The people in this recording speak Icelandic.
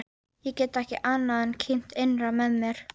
Ég get ekki annað en kímt innra með mér.